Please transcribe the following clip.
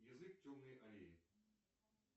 язык темной аллеи